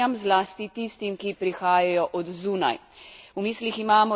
Za boj proti grožnjam, zlasti tistim, ki prihajajo od zunaj.